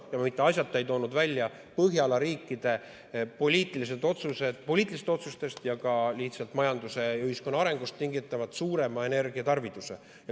Ma mitte asjata ei toonud välja Põhjala riikide poliitilistest otsustest ning ka lihtsalt majanduse ja ühiskonna arengust tingitud suuremat energiatarvidust.